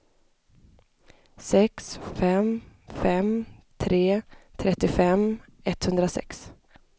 sex fem fem tre trettiofem etthundrasex